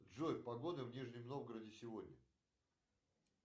джой погода в нижнем новгороде сегодня